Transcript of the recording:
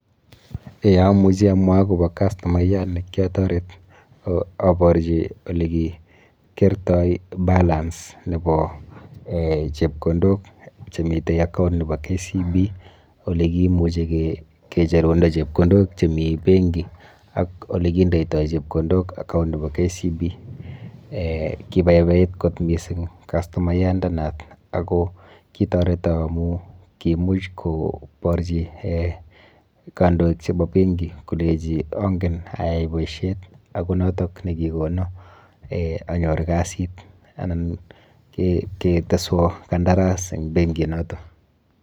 E amuchi amwa akobo kastomayat ne kiatoret aborchi ole kikeertoi balance nebo chepkondok che miten account nebo kbc ole kimuchu ke cherundo chepkondok chemi benki ak ole kindeitoi chepkondok account nebo KBC. Kibaibait kot mising kastomayandenoto ako kitoreton amu kimuch koborchi kandoik chebo benki koleji angen aai boisiet aku noton ne kikono anyoru kasit anan keteswa kandaras eng benki noto.